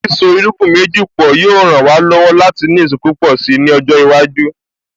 Sísọ irúgbìn méjì pọ̀ yóò ràn wá lọ́wọ́ láti ní èso púpọ̀ si ni ọjọ́ iwájú